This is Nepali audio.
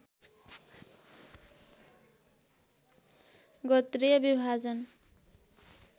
गोत्रीय विभाजन